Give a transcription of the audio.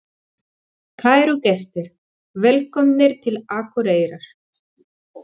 Kæru gestir! Velkomnir til Akureyrar.